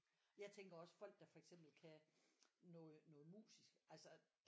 Jeg tænker også folk der for eksempel kan noget musisk altså